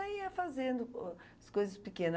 Aí ia fazendo o as coisas pequena.